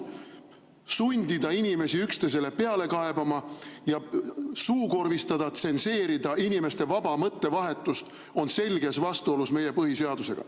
Sundida inimesi üksteise peale kaebama ja suukorvistada, tsenseerida inimeste vaba mõttevahetust on selges vastuolus meie põhiseadusega.